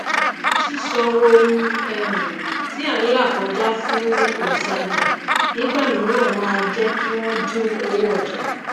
sísọ ohun um tí à n là kọjá fún òntajà nígbà mìíràn máá jékí wòn dín owó òjà kù